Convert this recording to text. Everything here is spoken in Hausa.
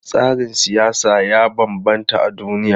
Tsarin siyasa ya bambanta a duniya.